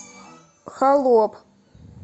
холоп